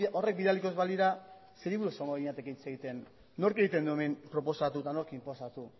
horrek bidaliko ez balira zeri buruz egongo ginateke hitz egiten nork egiten du hemen proposatu eta nork inposatu